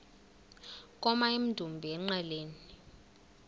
koma emdumbi engqeleni